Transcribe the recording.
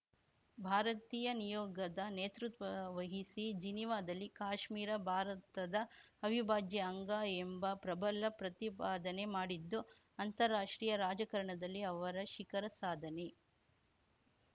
ಭಾರತೀಯ ನಿಯೋಗದ ನೇತೃತ್ವ ವಹಿಸಿ ಜಿನೀವಾದಲ್ಲಿ ಕಾಶ್ಮೀರ ಭಾರತದ ಅವಿಭಾಜ್ಯ ಅಂಗ ಎಂಬ ಪ್ರಬಲ ಪ್ರತಿಪಾದನೆ ಮಾಡಿದ್ದು ಅಂತಾರಾಷ್ಟ್ರೀಯ ರಾಜಕಾರಣದಲ್ಲಿ ಅವರ ಶಿಖರ ಸಾಧನೆ